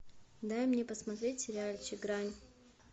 дай мне посмотреть сериальчик грань